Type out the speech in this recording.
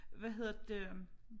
Hvad hedder det øh